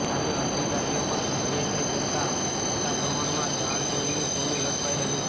સામે અધિકારીઓ પણ સક્રિય થઇ જતાં મોટા પ્રમાણમાં દાણચોરીનું સોનું ઝડપાઇ રહ્યું છે